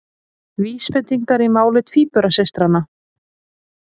Vísbendingar í máli tvíburasystranna